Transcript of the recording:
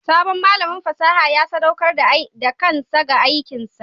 Sabon malamin fasaha ya sadaukar da kansa ga aikinsa.